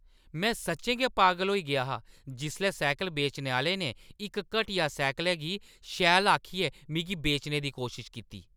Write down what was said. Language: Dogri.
में सच्चैं गै पागल होई गेआ हा जिसलै साइकल बेचने आह्‌ले ने इक घटिया साइकलै गी शैल आखियै मिगी बेचने दी कोशश कीती ।